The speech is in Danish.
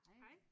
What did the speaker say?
Hej